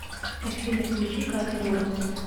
афина включи катя ворлд